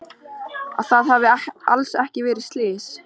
Að það hafi alls ekki verið slys.